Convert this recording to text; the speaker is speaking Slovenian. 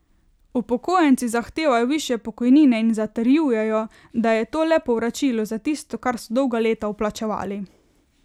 Upokojenci zahtevajo višje pokojnine in zatrjujejo, da je to le povračilo za tisto, kar so dolga leta vplačevali.